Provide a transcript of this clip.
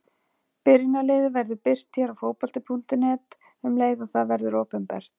Byrjunarliðið verður birt hér á Fótbolta.net um leið og það verður opinbert.